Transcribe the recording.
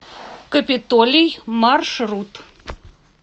капитолий маршрут